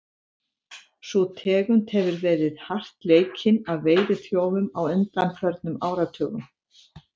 Sú tegund hefur verið hart leikinn af veiðiþjófum á undanförnum áratugum.